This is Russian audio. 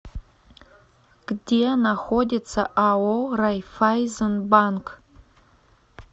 где находится ао райффайзенбанк